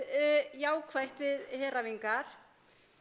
jákvætt við heræfingar